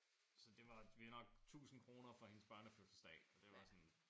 Så det var vi nok tusind kroner for hendes børnefødselsdag og det var sådan